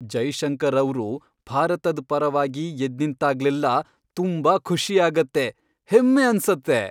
ಜೈಶಂಕರ್ ಅವ್ರು ಭಾರತದ್ ಪರವಾಗಿ ಎದ್ದ್ನಿಂತಾಗ್ಲೆಲ್ಲಾ ತುಂಬಾ ಖುಷಿ ಆಗತ್ತೆ, ಹೆಮ್ಮೆ ಅನ್ಸತ್ತೆ.